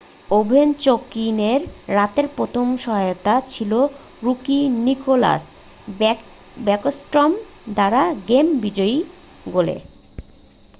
ওভেচকিনের রাতের প্রথম সহায়তা ছিল রুকি নিকলাস ব্যাকস্ট্রম দ্বারা গেম বিজয়ী গোলে